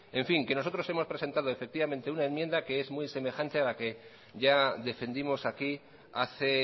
en fin nosotros hemos presentado una enmienda que es muy semejante a la que ya defendimos aquí hace